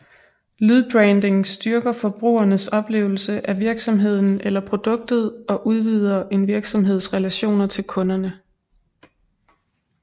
Lydbranding styrker forbrugernes oplevelse af virksomheden eller produktet og udvider en virksomheds relationer til kunderne